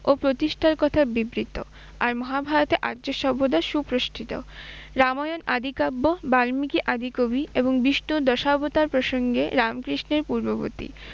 ও প্রতিষ্ঠার কথা বিবৃত। আর মহাভারতে আর্য সভ্যতা সুপ্রতিষ্ঠিত। রামায়ণ আদি কাব্য, বাল্মিকী আদি কবি এবং বিষ্ণুর দশাবতার প্রসঙ্গে রামকৃষ্ণের পূর্ববর্তী